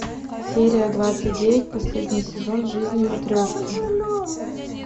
серия двадцать девять последний сезон жизни матрешки